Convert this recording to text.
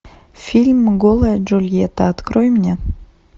фильм голая джульетта открой мне